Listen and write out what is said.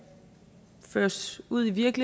føres ud i livet